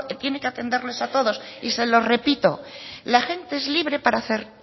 tiene que atenderles a todos y se lo repito la gente es libre para hacer